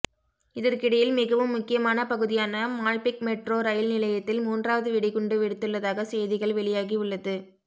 இதற்கிடையில் மிகவும் முக்கியமான பகுதியான மால்பிக் மெட்ரோ ரயில் நிலையத்தில் மூன்றாவது வெடுகுண்டு வெடித்துள்ளதாக செய்திகள் வெளியாகி உள்ளது